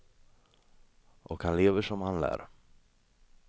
Och han lever som han lär.